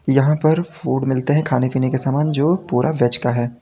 यहां पर फूड मिलते है खाने पीने के सामान जो पूरा वेज का है।